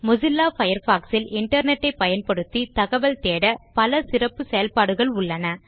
Mozilla Firefox இல் internet ஐ பயன்படுத்தி தகவல் தேட பல சிறப்பு செயல்பாடுகள் உள்ளன